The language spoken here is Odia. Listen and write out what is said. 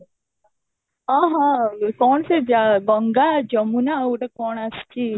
ଅହଃ କ'ଣ ସେ ଗଙ୍ଗା ଯମୁନା ଆଉ ଗୋଟେ କ'ଣ ଆସିଛି